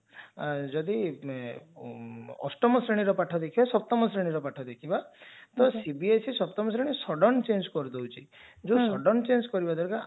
ଯଦି ଅଷ୍ଟମ ଶ୍ରେଣୀର ପାଠ ଦେଖିବା ସପ୍ତମ ଶ୍ରେଣୀର ପାଠ ଦେଖିବା ତ CBSE ସପ୍ତମ ଶ୍ରେଣୀ sudden change କରିଦଉଛି ଯଉ sudden change କରିବା ଦ୍ଵାରା